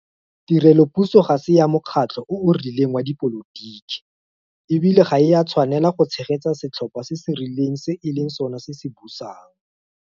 Tirelopuso ga se ya mokgatlho o o rileng wa dipolotiki, e bile ga e a tshwanelwa go tshegetsa setlhopha se se rileng se e leng sona se se busang.